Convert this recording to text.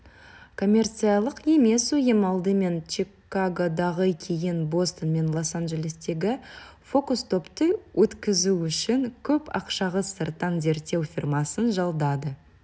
коммерциялық емес ұйым алдымен чикагодағы кейін бостон мен лос-анжелестегі фокус-топты өткізу үшін көп ақшаға сырттан зерттеу фирмасын жалдады